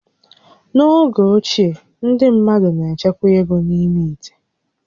N'oge ochie, ndị mmadụ na-echekwa égo n'ime íté